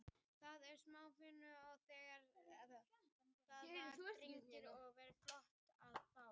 Það var smá fögnuður þegar það var dregið og það var flott að fá þá.